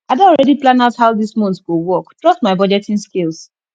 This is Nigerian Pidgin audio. i don already plan out how dis month go work trust my budgeting skills